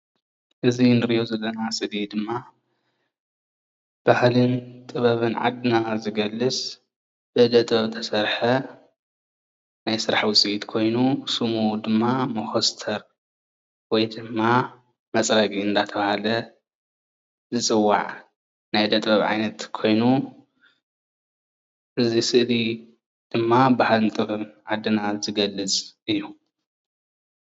እዚ እንሪኦ ዘለና ስእሊ ድማ ባህልን ጥበብን ዓድና ዝገልፅ ብኢዳ ጥበብ ዝተሰርሐ ናይ ስራሕ ውፅኢት ኮይኑ ሽሙ ድማ መኮስተር ወይ ድማ መፅረጊ እንዳተባሃለ ዝፅዋዕ ናይ እደ ጥበብ ዓይነት ኮይኑ እዚ ስእሊ ድማ ንባህሊ ዓድና ዝገልፅ እዩ፡፡